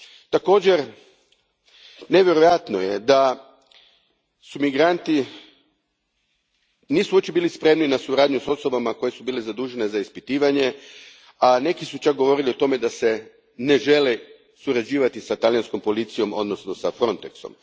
Također, nevjerojatno je da migranti uopće nisu bili spremni na suradnju s osobama koje su bile zadužene za ispitivanje, a neki su čak govorili o tome da ne žele surađivati s talijanskom policijom, odnosno s Frontexom.